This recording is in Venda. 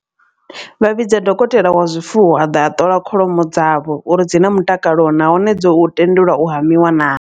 Vha vhidza dokotela wa zwifuwo a ḓa a ṱola kholomo dzavho uri dzi na mutakalo nahone dzo tendelwa u hamiwa naa.